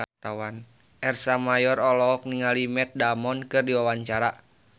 Ersa Mayori olohok ningali Matt Damon keur diwawancara